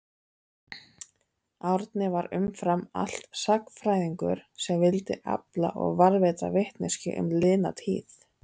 Árni var umfram allt sagnfræðingur sem vildi afla og varðveita vitneskju um liðna tíð.